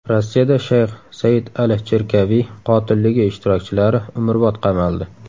Rossiyada shayx Said al-Chirkaviy qotilligi ishtirokchilari umrbod qamaldi.